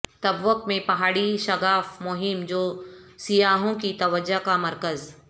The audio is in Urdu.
تبوک میں پہاڑی شگاف مہم جو سیاحوں کی توجہ کا مرکز